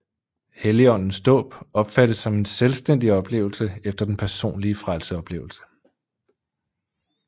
Helligåndens dåb opfattes som en selvstændig oplevelse efter den personlige frelseoplevelse